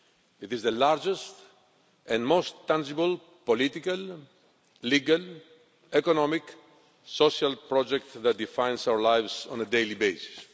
It is the largest and most tangible political, legal, economic and social project that defines our lives on a daily basis.